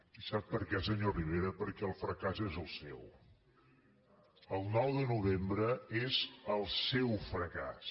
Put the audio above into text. i sap per què senyor rivera perquè el fracàs és el seu el nou de novembre és el seu fracàs